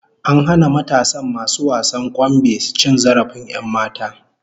An hana matasan masu wasan kwambe cin zarafin 'yanmata